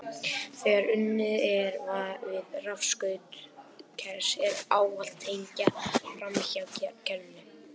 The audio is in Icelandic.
Þegar unnið er við rafskaut kers er ávallt tengt framhjá kerinu.